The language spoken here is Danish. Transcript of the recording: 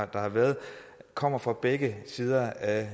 der har været kommer fra begge sider af